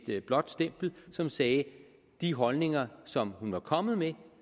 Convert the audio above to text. blåt stempel som sagde de holdninger som hun er kommet med